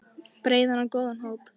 Breiðan og góðan hóp.